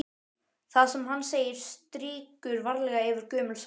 Það sem hann segir strýkur varlega yfir gömul sár.